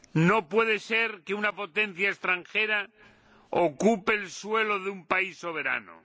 No puede ser que una potencia extranjera ocupe el suelo de un país soberano.